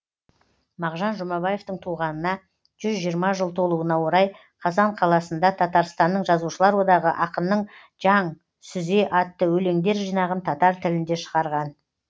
мағжан жұмабаевтың туғанына жүз жиырма жыл толуына орай қазан қаласында татарстанның жазушылар одағы ақынның жаң сүзе атты өлеңдер жинағын татар тілінде шығарған